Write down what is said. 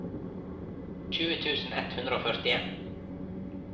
tjue tusen ett hundre og førtien